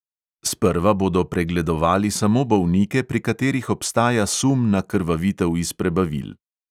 Sprva bodo pregledovali samo bolnike, pri katerih obstaja sum na krvavitev iz prebavil.